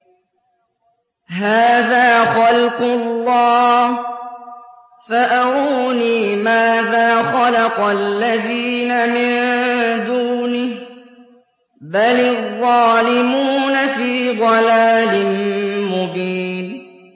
هَٰذَا خَلْقُ اللَّهِ فَأَرُونِي مَاذَا خَلَقَ الَّذِينَ مِن دُونِهِ ۚ بَلِ الظَّالِمُونَ فِي ضَلَالٍ مُّبِينٍ